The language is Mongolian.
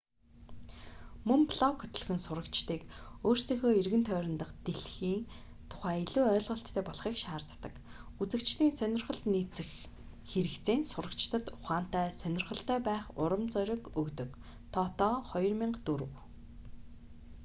мөн блог хөтлөх нь сурагчдыг өөрсдийнхөө эргэн тойрон дахь дэлхийн тухай илүү ойлголттой болохыг шаарддаг". үзэгчдийн сонирхолд нийцэх хэрэгцээ нь сурагчдад ухаантай сонирхолтой байх урам зориг өгдөг тото 2004